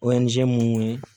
mun ye